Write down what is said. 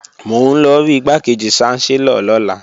Mò ń lọ rí Igbákejì ṣánsẹ́lọ̀ lọ́la